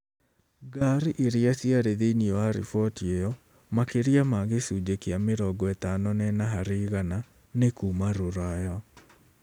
Ngari iria ciarĩ thĩinĩ wa riboti ĩyo, makĩria ma gĩcunjĩ kĩa 54 harĩ igana nĩ kuuma Rũraya.